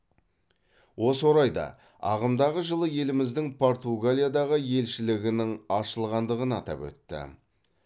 осы орайда ағымдағы жылы еліміздің португалиядағы елшілігінің ашылғандығын атап өтті